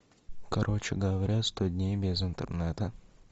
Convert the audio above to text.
короче говоря сто дней без интернета